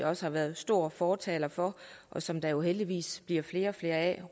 også har været store fortalere for og som der jo heldigvis bliver flere og flere af